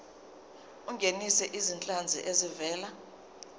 ungenise izinhlanzi ezivela